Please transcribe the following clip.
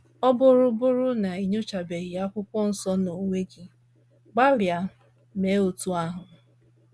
Ya bụrụ bụrụ na i nyochabeghị Akwụkwọ Nsọ n’onwe gị, gbalịa mee otú ahụ.